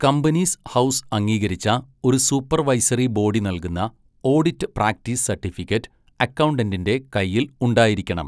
Companies House അംഗീകരിച്ച ഒരു supervisory body നൽകുന്ന ഓഡിറ്റ് പ്രാക്ടീസ് സർട്ടിഫിക്കറ്റ് അക്കൗണ്ടന്റിൻ്റെ കയ്യിൽ ഉണ്ടായിരിക്കണം.